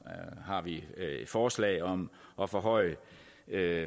har vi forslag om at forhøje